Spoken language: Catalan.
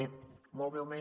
bé molt breument